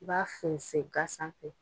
I b'a fɛnsɛ ŋa sanfɛ